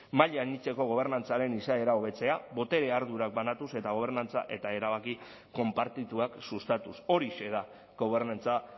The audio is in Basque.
maila anitzeko gobernantzaren izaera hobetzea botere ardurak banatuz eta gobernantza eta erabaki konpartituak sustatuz horixe da gobernantza